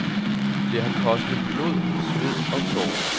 Det har kostet blod, sved og tårer.